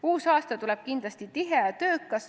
Uus aasta tuleb kindlasti tihe ja töökas.